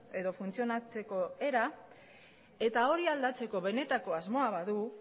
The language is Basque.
edo funtzionatzeko era eta hori aldatzeko benetako asmoa badu